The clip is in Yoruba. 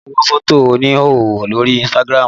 Olá ń wo fótò oníhòòhò lórí Instagram